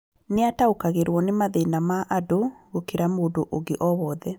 Nĩataũkagĩrũo nĩ mathĩna ma andũ gũkĩra mũndũ ũ ngĩ o wothe